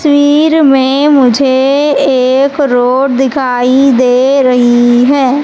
तस्वीर में मुझे एक रोड दिखाई दे रही है।